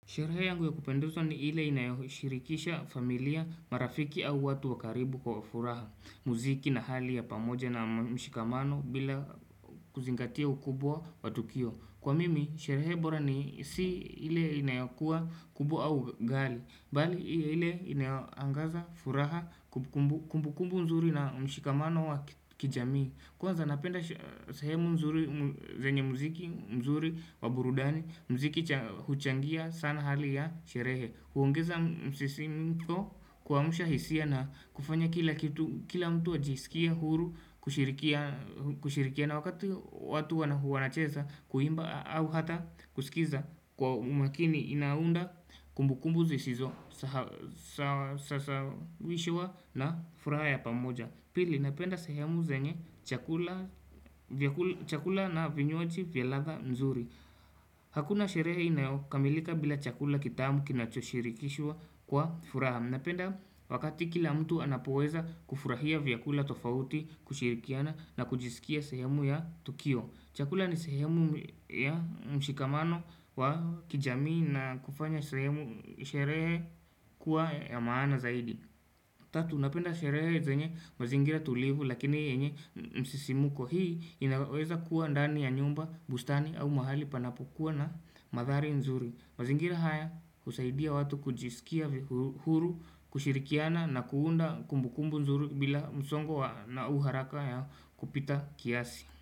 Sherehe yangu ya kupendezwa ni ile inayoshirikisha familia, marafiki au watu wa karibu kwa furaha, muziki na hali ya pamoja na mshikamano bila kuzingatia ukubwa wa tukio. Kwa mimi, sherehe bora ni si ile inayokuwa kubwa au kalii, bali ile inayoangaza furaha kumbukumbu nzuri na mshikamano wa kijamii. Kwanza napenda sehemu nzuri, venye mziki mzuri wa burudani, mziki huchangia sana hali ya sherehe huongeza msisimko kuamsha hisia na kufanya kila kitu, kila mtu ajisikie huru, kushirikiana wakati watu wanacheza Kuimba au hata kusikiza kwa umakini inaunda kumbukumbu sisizo sasawishwa na furaha ya pamoja Pili napenda sehemu zenye chakula na vinywaji vya ladha nzuri. Hakuna sherehe inayokamilika bila chakula kitamu kinachoshirikishwa kwa furaha. Napenda wakati kila mtu anapoweza kufurahia vyakula tofauti kushirikiana na kujisikia sehemu ya Tukio. Chakula ni sehemu ya mshikamano wa kijamii na kufanya sehemu sherehe kuwa ya maana zaidi. Tatu, napenda sherehe zenye mazingira tulivu lakini yenye msisimuko hii inaweza kuwa ndani ya nyumba, bustani au mahali panapokua na mandhari nzuri. Mazingira haya husaidia watu kujisikia huru, kushirikiana na kuunda kumbukumbu nzuri bila msongo na au haraka ya kupita kiasi.